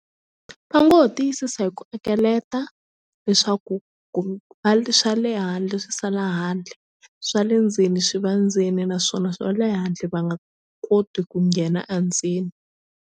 Va ngo ho tiyisisa hi ku akeleta leswaku va swa le handle swi sala handle swa le ndzeni swi va ndzeni naswona swa le handle va nga koti ku nghena a ndzeni.